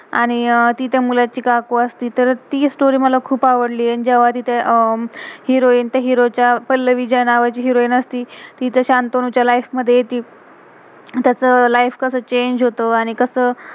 आणि ति त्या मुलाची काकू आस्ती. तर ती स्टोरी story, मला खुप आवडलिये. आणि जेव्हा तिथं अं हिरोइन heroin त्या हीरो hero च्या, पल्लवी ज्या नावाची हिरोइन heroin असती, ती त्या शंतनू च्या लाइफ life मध्ये येती. त्याच लाइफ life कसं चेंग change होतं, आणि कसं